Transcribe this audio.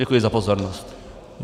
Děkuji za pozornost.